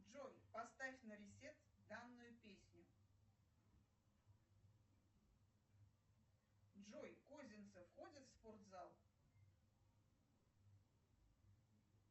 джой поставь на ресет данную песню джой козинцев ходит в спортзал